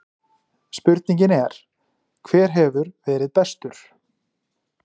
Spurningin er: Hver hefur verið bestur?